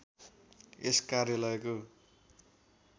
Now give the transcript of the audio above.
यस कार्यालयको